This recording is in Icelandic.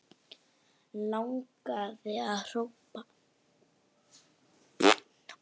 Langaði að hrópa